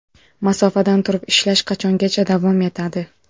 Masofadan turib ishlash qachongacha davom etadi?